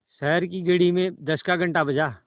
शहर की घड़ी में दस का घण्टा बजा